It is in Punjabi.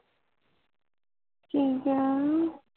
ਕਿ ਕਿਹਾ